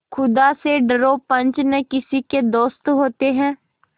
खुदा से डरो पंच न किसी के दोस्त होते हैं